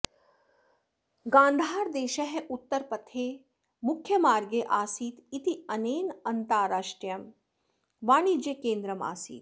गान्धारदेशः उत्तरपथे मुख्यमार्गे आसीत् इत्यनेन अन्ताराष्ट्रियं वाणिज्यकेन्द्रम् आसीत्